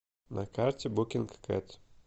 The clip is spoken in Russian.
на карте букингкэт